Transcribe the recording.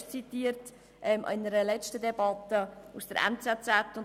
: Ich habe in einer der letzten Debatten schon einmal aus der «NZZ» zitiert.